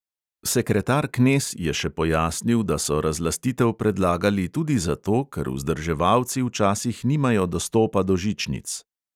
Sekretar knez je še pojasnil, da so razlastitev predlagali tudi zato, ker vzdrževalci včasih nimajo dostopa do žičnic.